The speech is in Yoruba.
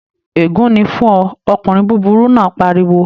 Ègún ni fún ọ, ọkùnrin búburú náà pariwo!